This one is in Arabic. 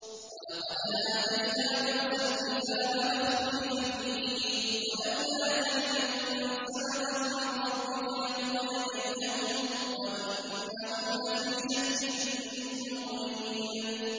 وَلَقَدْ آتَيْنَا مُوسَى الْكِتَابَ فَاخْتُلِفَ فِيهِ ۚ وَلَوْلَا كَلِمَةٌ سَبَقَتْ مِن رَّبِّكَ لَقُضِيَ بَيْنَهُمْ ۚ وَإِنَّهُمْ لَفِي شَكٍّ مِّنْهُ مُرِيبٍ